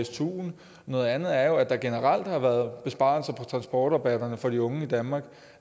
stuen noget andet er jo at der generelt har været besparelser på transportrabatterne for de unge i danmark